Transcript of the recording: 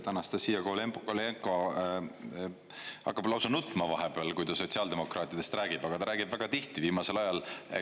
Anastassia Kovalenko-Kõlvart hakkab lausa nutma vahepeal, kui ta sotsiaaldemokraatidest räägib, aga ta räägib väga tihti viimasel ajal.